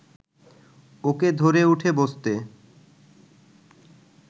ওকে ধরে উঠে বসতে